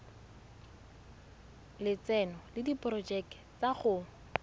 lotseno le diporojeke tsa go